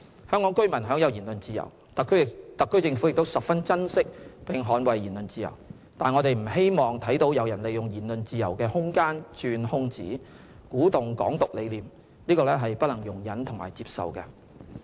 香港居民享有言論自由，特區政府也十分珍惜並捍衞言論自由，但我們不希望看到有人利用言論自由的空間鑽空子，鼓動"港獨"理念，這是不能容忍和接受的。